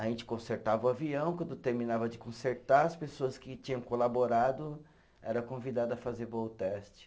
A gente consertava o avião, quando terminava de consertar, as pessoas que tinham colaborado eram convidada a fazer voo teste.